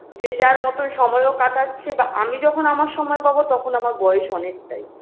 যে যার মতন সময়ও কাটাচ্ছে বা আমি যখন আমার সময় পাবো তখন আমার বয়স অনেকটাই